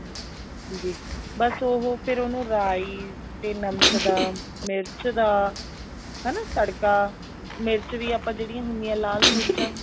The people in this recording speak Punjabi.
ਜੀ ਬੱਸ ਉਹ ਫ਼ੇਰ ਉਹਨੂੰ ਰਾਈ ਤੇ ਨਮਕ ਦਾ ਮਿਰਚ ਦਾ ਹਨਾ ਤੜਕਾ ਮਿਰਚ ਵੀ ਆਪਾਂ ਜਿਹੜੀਆਂ ਹੁੰਦੀਆਂ ਲਾਲ ਮਿਰਚਾਂ